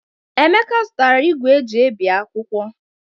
Emeka azụtara ìgwè eji ebi akwụkwọ.